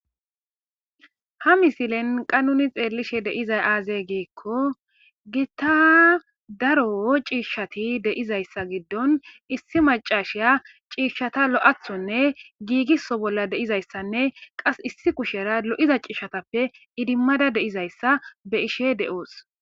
Ha misilen qase nun xelishe dizay aze gikon Gita daro ciishat de'izaysa gidon issi macasiya ciishata lo'athonne giigiso bolla dizaysanne qas issi kushera lo'iza ciishatappe idimada de'izaysa be'ishe de'os.